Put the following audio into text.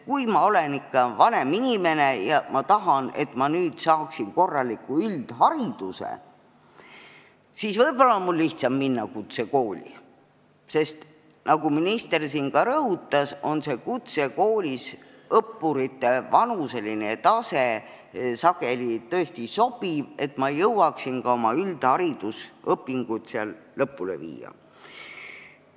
Kui ma olen vanem inimene ja tahan saada korralikku üldharidust, siis võib-olla on mul lihtsam minna kutsekooli, sest nagu minister siin ka rõhutas, on kutsekoolis õppurite vanuseline tase sageli tõesti sobivam, et saaks üldharidusõpingud seal lõpule viia.